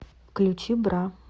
включи бра